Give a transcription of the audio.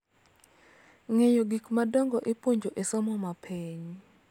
Ng�eyo gik madongo ipuonjo e somo ma piny.